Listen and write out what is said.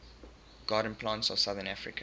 garden plants of southern africa